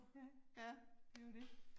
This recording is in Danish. Ja, det jo det